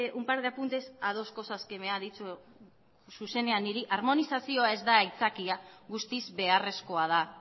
un par de apuntes a dos cosas que me ha dicho directamente a mí armonizazioa ez da aitzakia guztiz beharrezkoa da